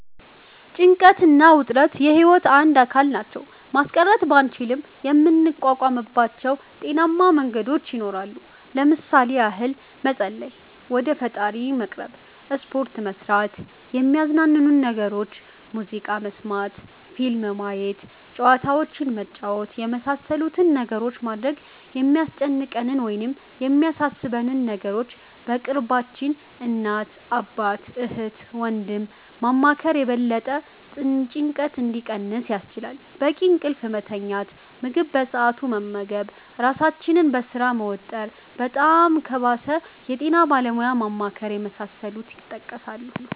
ጭንቀት እና ውጥረት የህይወት አንድ አካል ናቸው። ማስቀረት ባንችልም የምንቋቋምባቸው ጤናማ መንገዶች ይኖራሉ። ለምሣሌ ያህል መፀለይ(ወደ ፈጣሪ መቅረብ)፣ሰፖርት መስራት፣ የሚያዝናኑንን ነገሮች (ሙዚቃ መስመት፣ ፊልም ማየት፣ ጨዋታዎችንን መጫወት)የመሣሠሉትን ነገሮች ማድረግ፣ የሚያስጨንቀንን ወይም የሚያሣሦበንን ነገሮች በቅርባችን (እናት፣ አባት፣ እህት፣ ወንድም )ማማከር የበለጠ ጭንቀቱ እንዲቀንስ ያስችላል፣ በቂ እንቅልፍ መተኛት፣ ምግብ በሠአቱ መመገብ ራሣችንን በሥራ መወጠር፣ በጣም ከባሠ የጤና ባለሙያ ማማከር የመሣሠሉት ይጠቀሳሉ።